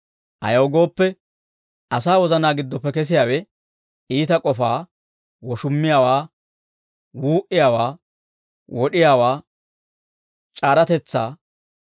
Ayaw gooppe, asaa wozanaa giddoppe kesiyaawe iita k'ofaa; woshummiyaawaa; wuu"iyaawaa; wod'iyaawaa; c'aaratetsaa;